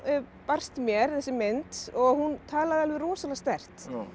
barst mér þessi mynd og hún talar alveg rosalega sterkt